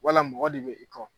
Wala mɔgɔ de i kɔ.